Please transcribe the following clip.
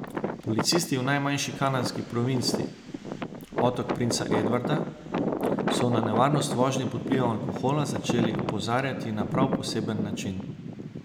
Policisti v najmanjši kanadski provinci, Otok princa Edvarda, so na nevarnost vožnje pod vplivom alkohola začeli opozarjati na prav poseben način.